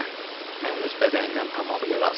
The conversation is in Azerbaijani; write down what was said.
Hə, mən öz bədənimdən tamamilə razıyam.